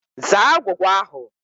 Zaa agwụgwa ahụ!